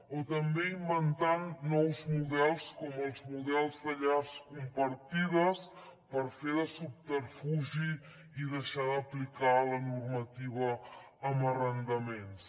o també inventant nous models com els models de llars compartides per fer de subterfugi i deixar d’aplicar la normativa en arrendaments